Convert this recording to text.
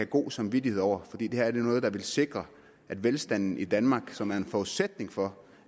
god samvittighed over fordi det her er noget der vil sikre at velstanden i danmark som er en forudsætning for